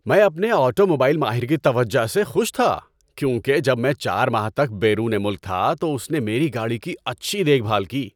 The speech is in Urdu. ‏میں اپنے آٹوموبائل ماہر کی توجہ سے خوش تھا کیونکہ جب میں چار ماہ تک بیرون ملک تھا تو اس نے میری گاڑی کی اچھی دیکھ بھال کی۔